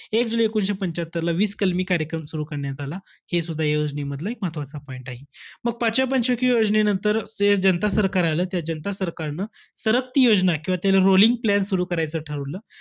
एक जुलै एकोणवीसशे पंच्यात्तरला वीस कलमी कार्यक्रम सुरु करण्यात आला. हे सुद्धा या योजनेमधलं एक महत्वाचा point आहे. मग पाचव्या पंच वार्षिक योजनेनंतर, ते जनता सरकार आलं. त्या जनता सरकारनं सरकती योजना किंवा त्याला rolling plan सुरु करायचं ठरवलं.